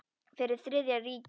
Fyrir Þriðja ríkið.